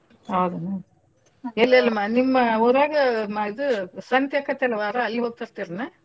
ಹೌದನ? ಎಲ್ಲಿಅಲಿ ನಿಮ್ ಊರಾಗ ಮ~ ಇದು ಸಂತ್ಯಾಕತಲ್ಲ್ ವಾರಾ ಅಲ್ಹೋಗಿ ತರ್ತಿರೇನು?